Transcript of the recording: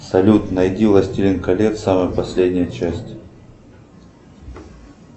салют найди властелин колец самая последняя часть